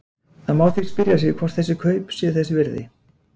Það má því spyrja sig hvort þessi kaup séu þess virði?